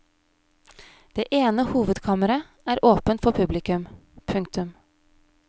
Det ene hovedkammeret er åpent for publikum. punktum